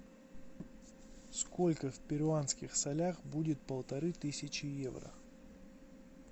сколько в перуанских солях будет полторы тысячи евро